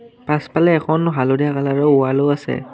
পাছফালে এখন হালধীয়া কালাৰৰ ৱালো আছে।